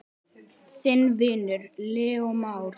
Þinn vinur, Leó Már.